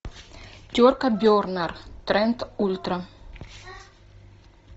терка бернер тренд ультра